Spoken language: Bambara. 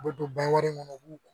U bɛ don baw kɔnɔ u b'u